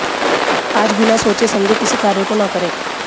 आज बिना सोचे समझे किसी कार्य को न करे